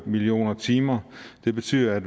millioner timer det betyder at